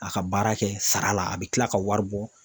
A ka baara kɛ sara la a bɛ tila ka wari bɔ